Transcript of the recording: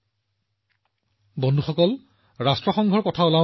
১৯৭৭ চনত তেওঁ হিন্দীত ৰাষ্ট্ৰসংঘক সম্বোধন কৰি ইতিহাস ৰচনা কৰে